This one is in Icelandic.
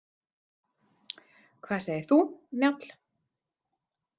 Hvað segir þú, Njáll?